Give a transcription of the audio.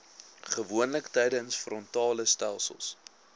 gewoonlik tydens frontalestelsels